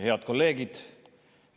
Head kolleegid!